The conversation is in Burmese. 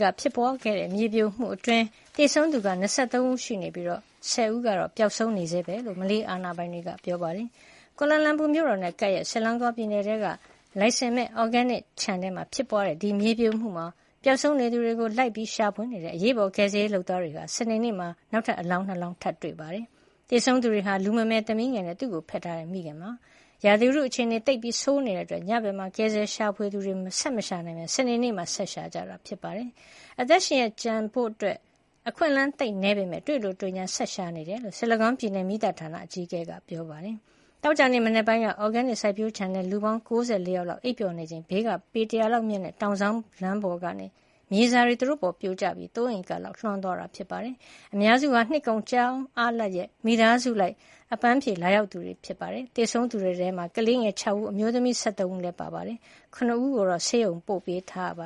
က ဖြစ်ပွားခဲ့တဲ့ မြေပြိုမှုအတွင်း သေဆုံးသူ ၂၃ ဦးရှိနေပြီး ၁၀ ဦးက ပျောက်ဆုံးနေဆဲပဲလို့ မလေးအာဏာပိုင်တွေက ပြောပါတယ်။ ကွာလာလန်ပူမြို့တော်နဲ့ ကပ်ရက် Selango ပြည်နယ်ထဲက လိုင်စင်မဲ့ အော်ဂဲနစ်ခြံ မှာ ဖြစ်ပွါးတဲ့ မြေပြိုမှုမှာ ပျောက်ဆုံးနေသူတွေကို လိုက်လံရှာဖွေနေတဲ့ အရေးပေါ်ကယ်ဆယ်ရေး လုပ်သားတွေဟာ စနေနေ့က နောက်ထပ် အလောင်း ၂ လောင်းထပ်တွေ့ခဲ့ပါတယ်။ သေဆုံးသူတွေဟာ လူမမယ်သမီးငယ်နဲ့ သူ့ကိုဖက်ထားတဲ့မိခင်တို့ဖြစ် ပါတယ်။ ရာသီဥတုအခြေနေက သိပ်ဆိုးနေတာကြောင့် ညဘက်မှာ ကယ်ဆယ်ရှာဖွေသူတွေ ဆက်မရှာနိုင်ပဲ စနေနေ့မှာမှ ဆက်လက်ရှာဖွေရင်း တေ့ွရှိခဲ့တာပါ။ အသက်ရှင်ရက် ကျန်သူရှိဖို့ အခွင့်အလန်း သိပ်နည်းပေမယ့် တွေ့လိုတွေ့ငြား ဆက်လက်ရှာဖွေနေကြောင်းလည်း Selango ပြည်နယ် မီးသတ်ဌာနအကြီးအကဲ Norazam Khamis ကသတင်းထောက်တွေကို ပြောပါတယ်။ သောကြာမနက်ပိုင်းက အော်ဂဲနစ်စိုက်ပျိုးခြံ ထဲမှာ လူပေါင်း ၉၄ ယောက်လောက် အိပ်ပျော်နေချိန် ဘေးက ပေ ၁၀၀ လောက်မြင့်တဲ့ တောင်စောင်း လမ်းပေါ်က မြေစာတွေ သူတို့ပေါ် ပြိုကျပြီး ၃ ဧက လောက်ကို လွှမ်းသွားတာ ဖြစ်ပါတယ်။ အများစုဟာ နှစ်ကုန် ကျောင်းအားလပ်ရက် မိသားစုလိုက် အပမ်းဖြေလာရောက်ကြသူတွေ ဖြစ်ပါတယ်။ သေဆုံးသူတွေထဲမှာ ကလေးငယ် ၆ ဦး အမျိုးသမီး ၁၃ ဦးလည်း ပ ါဝင်ပါတယ်။ ၇ ဦးကို ဆေးရုံ ပို့ပေးထားပ